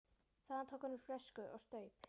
Þaðan tók hann upp flösku og staup.